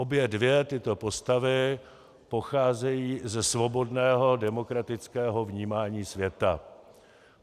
Obě dvě tyto postavy pocházejí ze svobodného demokratického vnímání světa.